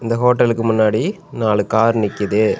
இந்த ஹோட்டலுக்கு முன்னாடி நாலு கார் நிக்கிது.